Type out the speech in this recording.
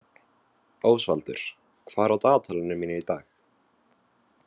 Ósvaldur, hvað er á dagatalinu mínu í dag?